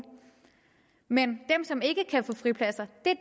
men dem som ikke kan få fripladser